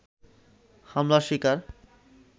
হামলার শিকার